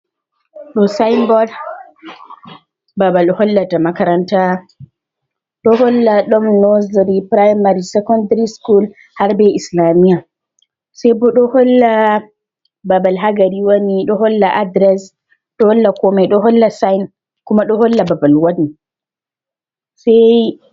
Ɗo signboard babal hollata makaranta, ɗo holla ɗon nursery, primary, secondary school, Har be islamiya sai bo ɗo bo holla babal ha gari woni, ɗo holla adress, ɗo holla komai ɗo holla sign, kuma ɗo holla babal wari saiyi.